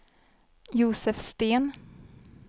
Josef Sten